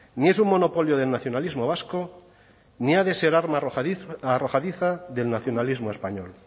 ni es un monopolio del nacionalismo vasco ni ha de ser arma arrojadiza del nacionalismo español